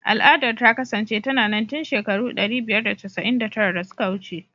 Al'adar ta kasance tana nan tun shekaru ɗari biyar da casa'in da tara da suka wuce.